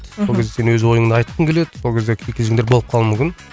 мхм сол кезде сен өз ойынды айтқың келеді сол кезде кикілжіңдер болып қалуы мүмкін